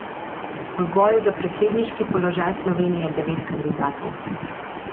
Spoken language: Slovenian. V boju za predsedniški položaj Slovenije je devet kandidatov.